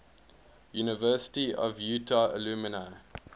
university of utah alumni